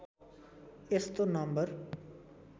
यस्तो नम्बर